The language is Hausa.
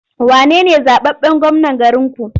Wane ne zaɓaɓɓen gwamnan garinku?